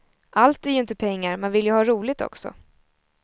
Allt är ju inte pengar, man vill ju ha roligt också.